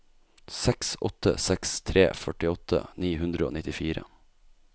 seks åtte seks tre førtiåtte ni hundre og nittifire